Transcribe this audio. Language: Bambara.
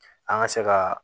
An ka se ka